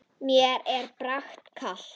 Mér er bara kalt.